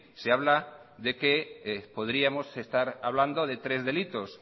se habla de que podríamos estar hablando de tres delitos